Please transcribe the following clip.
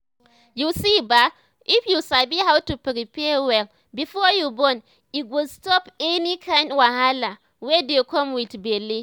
you see ba if you sabi how to prepare well before you born e go stop any kind wahala wey dey come with belle